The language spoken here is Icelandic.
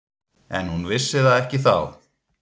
En hún vissi það ekki þá.